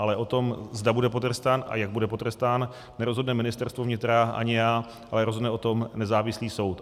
Ale o tom, zda bude potrestán a jak bude potrestán, nerozhodne Ministerstvo vnitra ani já, ale rozhodne o tom nezávislý soud.